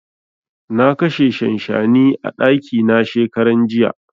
Na kashe shanshani a ɗaki na shekaran jiya.